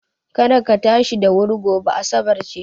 Kada ka tashi da wuri gobe, asabar ce.